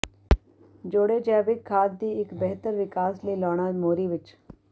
ਜੋੜੇ ਜੈਵਿਕ ਖਾਦ ਦੀ ਇੱਕ ਬਿਹਤਰ ਵਿਕਾਸ ਲਈ ਲਾਉਣਾ ਮੋਰੀ ਵਿੱਚ